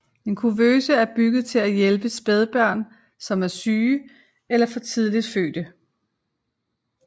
En kuvøse er bygget til at hjælpe spædbørn som er syge eller for tidligt fødte